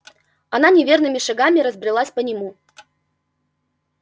она неверными шагами разбрелась по нему